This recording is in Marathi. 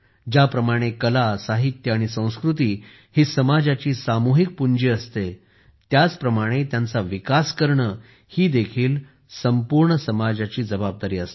ज्याप्रमाणे कला साहित्य आणि संस्कृती ही समाजाची सामूहिक पुंजी असते त्याचप्रमाणे त्यांचा विकास करणे ही देखील संपूर्ण समाजाची जबाबदारी असते